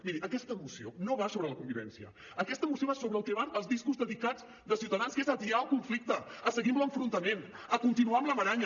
miri aquesta moció no va sobre la convivència aquesta moció va sobre el que van els discos dedicats de ciutadans que és a atiar el conflicte a seguir amb l’enfrontament a continuar amb la maranya